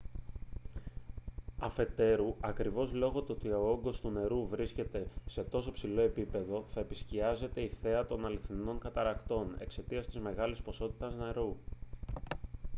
αφετέρου ακριβώς λόγω του ότι ο όγκος του νερού βρίσκεται σε τόσο υψηλό επίπεδο θα επισκιάζεται η θέα των αληθινών καταρρακτών εξαιτίας της μεγάλης ποσότητας νερού